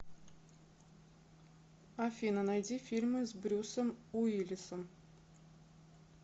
афина найди фильмы с брюсом уилисом